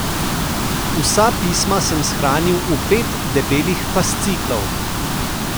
Vsa pisma sem shranil v pet debelih fasciklov.